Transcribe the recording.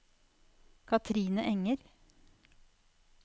Kathrine Enger